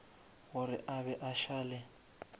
gore a be a šale